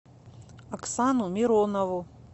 оксану миронову